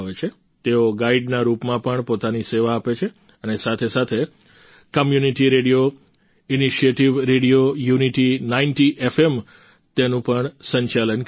તેઓ ગાઈડના રૂપમાં પણ પોતાની સેવા આપે છે અને સાથે સાથે community radio initiative radio unity 90 FM તેનું પણ સંચાલન કરે છે